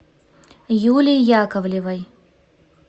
юлии яковлевой